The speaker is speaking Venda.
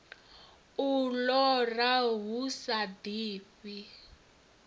u lora hu sa ḓifhi